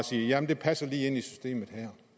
sige jamen det passer lige ind i systemet